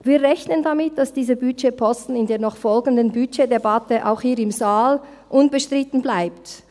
Wir rechnen damit, dass dieser Budgetposten in der noch folgenden Budgetdebatte auch hier im Saal unbestritten bleibt.